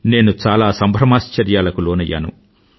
నేను చాలా సంభ్రమాశ్చర్యాలకు లోనయ్యాను